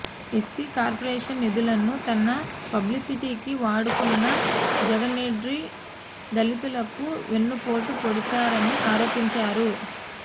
SC corporation నిధులను తన పబ్లిసిటీకి వాడుకున్న జగన్రెడ్డి దళితులకు వెన్నుపోటు పొడిచారని ఆరోపించారు